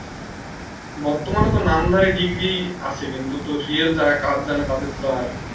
বর্তমান তো নামধারি ডিগ্রী আছে কিন্তু তো Real যারা কাজ জানে তাদের তো আর